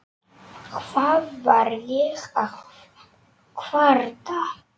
Hvað var ég að kvarta?